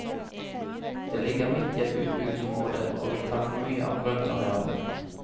Det ligger midt i et utbyggingsområde, og vil ta for mye av grøntarealene.